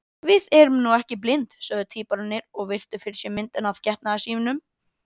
Við erum nú ekki blind, sögðu tvíburarnir og virtu fyrir sér myndina af getnaði sínum.